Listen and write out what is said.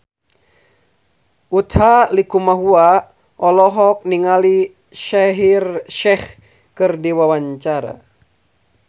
Utha Likumahua olohok ningali Shaheer Sheikh keur diwawancara